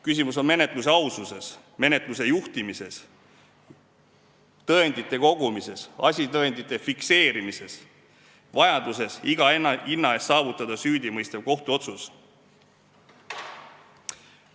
Küsimus on menetluse aususes, menetluse juhtimises, tõendite kogumises, asitõendite fikseerimises, vajaduses iga hinna eest süüdimõistev kohtuotsus saavutada.